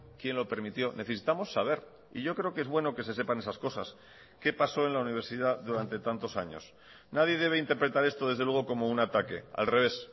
quién lo permitió necesitamos saber y yo creo que es bueno que se sepan esas cosas qué pasó en la universidad durante tantos años nadie debe interpretar esto desde luego como un ataque al revés